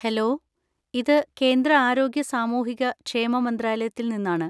Hello, ഇത് കേന്ദ്ര ആരോഗ്യ സാമൂഹിക ക്ഷേമ മന്ത്രാലയത്തിൽ നിന്നാണ്.